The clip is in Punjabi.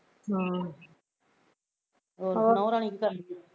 ਹੋਰ ਨੂਹ ਰਾਣੀ ਕਿੱਦਾਂ